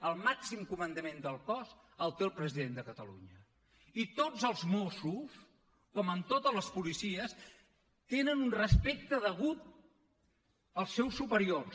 el màxim comandament del cos el té el president de catalunya i tots els mossos com en totes les policies tenen un respecte degut als seus superiors